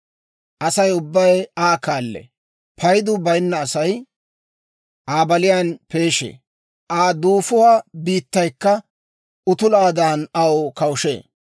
Asay ubbay Aa kaallee; Paydu bayinna Asay Aa baliyaan peeshee; Aa duufuwaa biittaykka utulaadan aw kawushee.